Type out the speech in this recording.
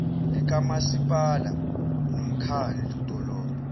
likamasipala nomkhadlu dolobha